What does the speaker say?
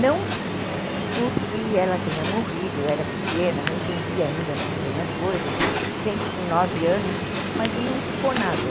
Não porque ela tenha morrido, eu era pequena, não entendia ainda muito bem as coisas, se bem que com nove anos, mas não ficou nada.